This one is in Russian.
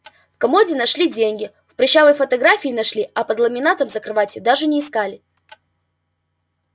в комоде нашли деньги в прыщавой фотографии нашли а под ламинатом за кроватью даже не искали